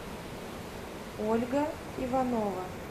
ольга иванова